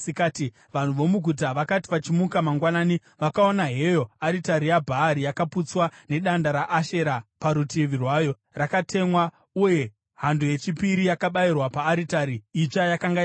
Vanhu vomuguta vakati vachimuka mangwanani, vakaona heyo aritari yaBhaari yakaputswa, nedanda raAshera parutivi rwayo rakatemwa, uye hando yechipiri yakabayirwa paaritari itsva yakanga yavakwa!